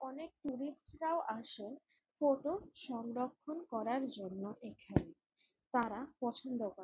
অনেক ট্যুরিস্ট -রাও আসেন ফটো সংরক্ষণ করার জন্য এখানে। তারা পছন্দ করে ।